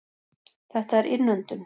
Þetta er innöndun.